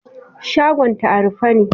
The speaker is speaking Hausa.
Shagon ta a rufe ne.